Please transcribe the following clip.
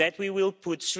that we will put